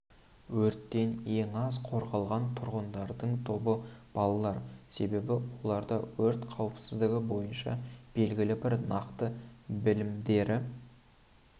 өрттен ең аз қорғалған тұрғындардың тобы балалар себебі оларда өрт қауіпсіздігі бойынша белгілі бір нақты білімдері